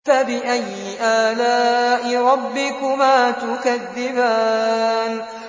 فَبِأَيِّ آلَاءِ رَبِّكُمَا تُكَذِّبَانِ